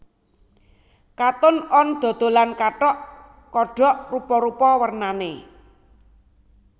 Cotton On dodolan kathok kodok rupa rupa wernane